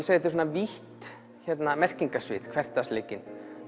vítt merkingarsvið hversdagsleikinn